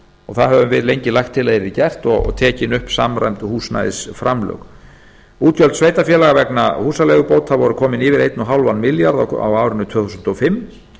og það höfum við lengi lagt til að yrði gert og tekin upp samræmd húsnæðisframlög útgjöld sveitarfélaga vegna húsaleigubóta voru komin yfir eins og hálfan milljarð á árinu tvö þúsund og fimm